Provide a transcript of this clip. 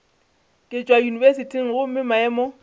ke tšwa yunibesithing gomme maemo